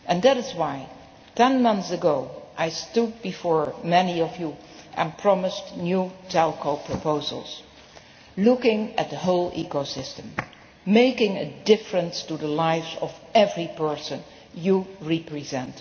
That is why, ten months ago, I stood before many of you and promised new telco proposals, looking at the whole ecosystem and making a difference to the life of every person you represent.